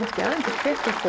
hvetja fólk